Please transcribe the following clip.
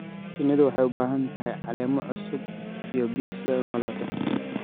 Shinnidu waxay u baahan tahay caleemo cusub iyo biyo si ay u noolaato.